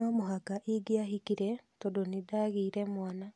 No mũhaka ingĩahikire tondũ nĩndagĩire mwana